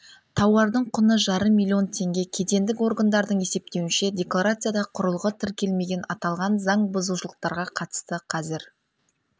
тауардың құны жарым миллион теңге кедендік органдардың есептеуінше декларацияда құрылғы тіркелмеген аталған заңбұзушылықтарға қатысты қазір